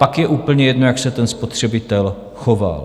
Pak je úplně jedno, jak se ten spotřebitel choval.